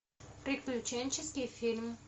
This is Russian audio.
приключенческий фильм